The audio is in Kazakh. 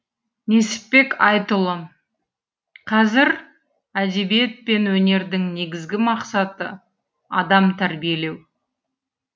несіпбек айтұлы қазір әдебиет пен өнердің негізгі мақсаты адам тәрбиелеу